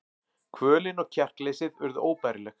Kvölin og kjarkleysið urðu óbærileg.